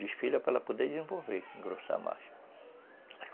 Desfilha para ela poder desenvolver, engrossar mais.